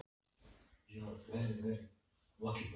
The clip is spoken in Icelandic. Júlía hváir, nær ekki þessari kúvendingu.